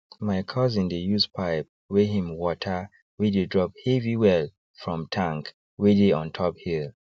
my cousin dey use pipe wey him water wey dey drop heavy wellfrom tank wey dey on top hill